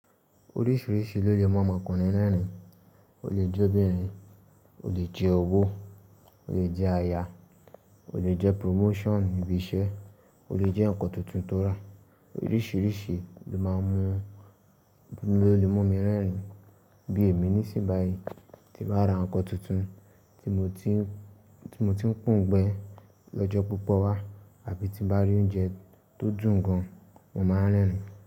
Oríṣìíríṣìí ló jẹ́ máa ń mọ ọkùnrin lẹ́rìn-ín, ó lè jẹ́ obìnrin, ó lè jẹ́ ọwọ́, ó lè jẹ́ aya, ó lè jẹ́ promotion ibi iṣẹ́, ó lè jẹ́ ǹkan tuntun tó rà. Oríṣìíríṣìí ló máa ń mú lo lemu mi rẹ́rìn-ín. Bí èmi ní sì bàyi tí bá ra ǹkan tuntun tí mo ti ń po òun gbẹ́ lọ́jọ́ púpọ̀ wá àbí tí bá rí oúnjẹ tó dùn gan, mo máa rẹ́rìn-ín.